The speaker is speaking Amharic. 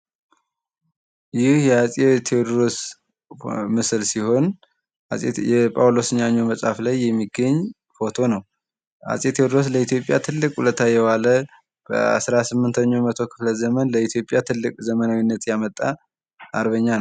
የአፄ ቴዎድሮስ ምስል ሲሆን የጳውሎስ ኞኞ መፅሐፍ ላይ የሚገኝ ፎቶ ነው:: አፄ ቴዎድሮስ ለኢትዮጵያ ትልቅ ውለታ የዋለ በ 18 ኛው መቶ ክፍለ ዘመን ለኢትዮጵያ ትልቅ ዘመናዊነትን የመጣ አርበኛ ነው።